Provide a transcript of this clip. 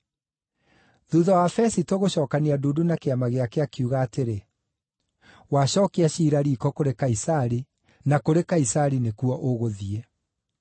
Thuutha wa Fesito gũcookania ndundu na kĩama gĩake, akiuga atĩrĩ, “Wacookia ciira riiko kũrĩ Kaisari na kũrĩ Kaisari nĩkuo ũgũthiĩ!”